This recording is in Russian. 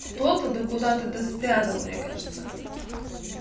кто то да куда то да спрятал мне кажется